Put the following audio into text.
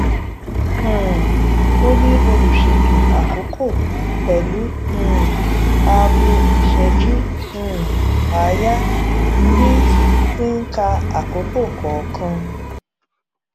um óní olùṣètò àkókò pẹlú um aago ìṣẹjú um àáyá tí tí ń ka àkókò kọọkan